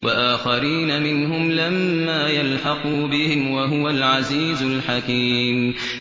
وَآخَرِينَ مِنْهُمْ لَمَّا يَلْحَقُوا بِهِمْ ۚ وَهُوَ الْعَزِيزُ الْحَكِيمُ